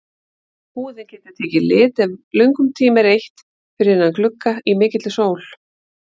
Húðin getur tekið lit ef löngum tíma er eytt fyrir innan glugga í mikilli sól.